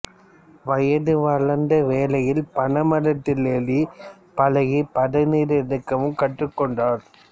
வயது வளர்ந்த வேளையில் பனைமரத்தில் ஏறிப் பழகிப் பதனீர் இறக்கவும் கற்றுக் கொண்டார்